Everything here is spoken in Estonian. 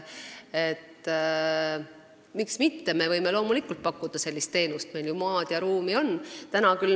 Miks mitte, me võime loomulikult pakkuda sellist teenust, meil ju maad ja ruumi on.